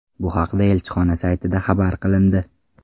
Bu haqda elchixona saytida xabar qilindi .